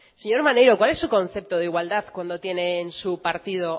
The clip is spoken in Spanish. señor maneiro cuál es su concepto de igualdad cuando tiene en su partido